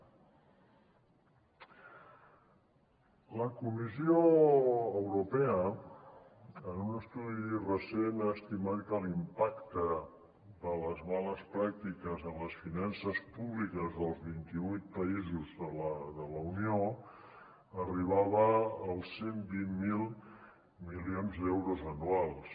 la comissió europea en un estudi recent ha estimat que l’impacte de les males pràctiques en les finances públiques dels vintivuit països de la unió arribava als cent i vint miler milions d’euros anuals